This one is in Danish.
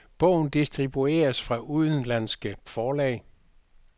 Bogen distribueres fra udenlandske forlag.